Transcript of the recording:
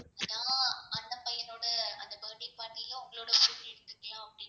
அப்டின்னு இருக்கலாம்